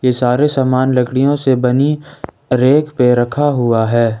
ये सारे सामान लकड़ियों से बनी रेक पे रखा हुआ है।